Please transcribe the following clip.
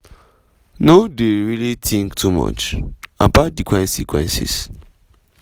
no dey really think too much about di consequences.”